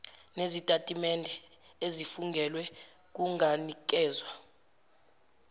nezitatimende ezifungelwe kunganikezwa